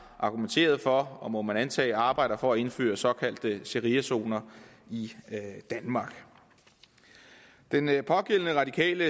argumenteret for og må man antage arbejder for at indføre såkaldte shariazoner i danmark den pågældende radikale